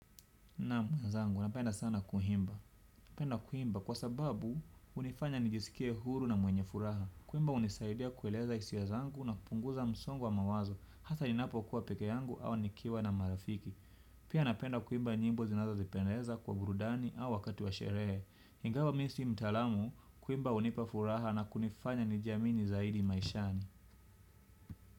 Naam mwenzangu, napenda sana kuimba. Napenda kuimba kwa sababu, hunifanya nijisikie huru na mwenye furaha. Kuimba hunisaidia kueleza hisia zangu na kupunguza msongo wa mawazo, hasaa ninapokuwa pekeyangu au nikiwa na marafiki. Pia napenda kuimba nyimbo zinazo nipendeza kwa burudani au wakati wa sherehe. Ingawa mimi sio mtaalamu, kuimba hunipa furaha na kunifanya nijiamini zaidi maishani.